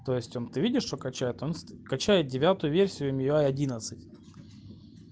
в чем ты видишь что качает качает девятую версию